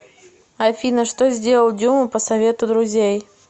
афина что сделал дюма по совету друзей